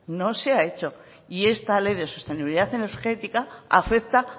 no se ha hecho y esta ley de sostenibilidad energética afecta